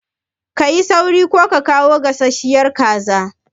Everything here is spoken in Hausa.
Ka yi sauri ka kawo gasasshiyar kazar!